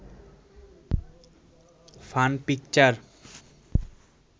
fun picture